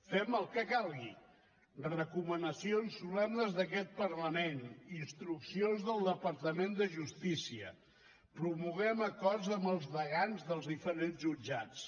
fem el que calgui recomanacions solemnes d’aquest parlament instruccions del departament de justícia promoguem acords amb els degans dels diferents jutjats